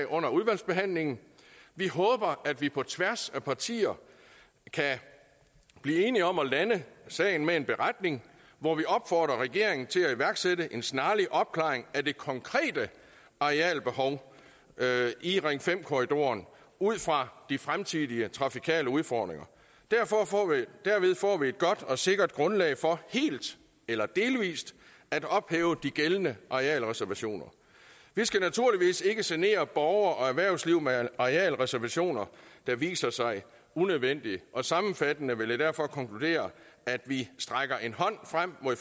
under udvalgsbehandlingen vi håber at vi på tværs af partierne kan blive enige om at lande sagen med en beretning hvor vi opfordrer regeringen til at iværksætte en snarlig opklaring af det konkrete arealbehov i ring fem korridoren ud fra de fremtidige trafikale udfordringer derved får vi et godt og sikkert grundlag for helt eller delvis at ophæve de gældende arealreservationer vi skal naturligvis ikke genere borgere og erhvervsliv med arealreservationer der viser sig unødvendige sammenfattende vil jeg derfor konkludere at vi strækker en hånd frem mod